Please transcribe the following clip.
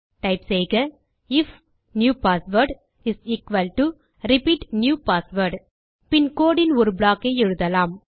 type செய்க if new password is equal to repeat new password பின் codeன் ஒரு ப்ளாக் ஐ எழுதலாம்